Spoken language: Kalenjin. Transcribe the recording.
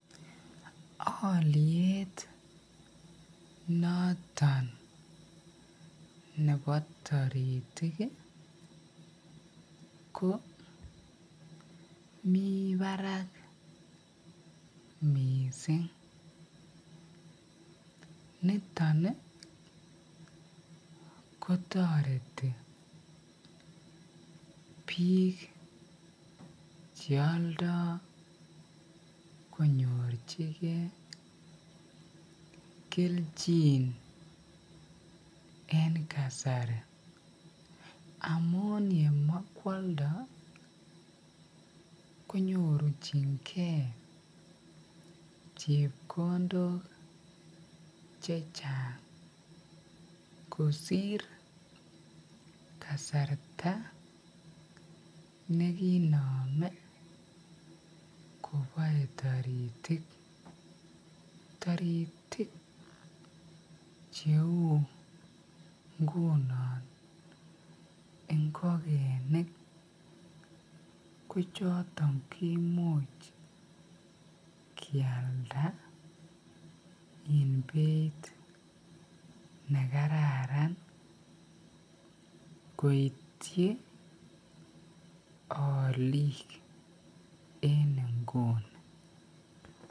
Oliet noton nebo taritik komii barak missing niton kotoreti biik che oldo konyorchigen kelchin en kasari amun yemokwoldoi konyorchingee chepkondok chechang kosir kasarta neginome koboe taritik cheu ingunon ingogenik noton ingunon kiyakda en beit nekararan koityi olik en inguni